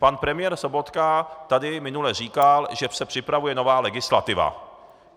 Pan premiér Sobotka tady minule říkal, že se připravuje nová legislativa.